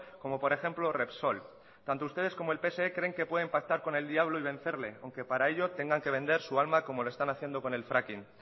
como por ejemplo repsol tanto ustedes como el pse creen que pueden pactar con el diablo y vencerle aunque para ello tengan que vender su alma como lo están haciendo con el fracking